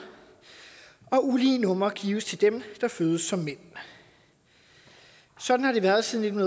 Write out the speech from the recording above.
og ulige numre gives til dem der fødes som mænd sådan har det været siden